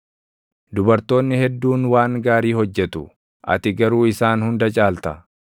“Dubartoonni hedduun waan gaarii hojjetu; ati garuu isaan hunda caalta.”